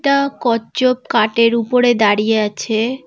একটা কচ্ছপ কাঠের উপরে দাঁড়িয়ে আছে।